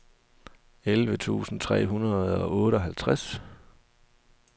elleve tusind tre hundrede og otteoghalvtreds